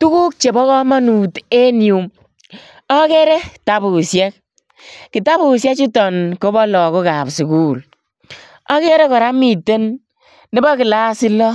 Tuguk chebo kamanut en yu agere tabusiek. Kitabusiechuton kobo lagokab sugul. Agere kora miten nebo kilasit loo,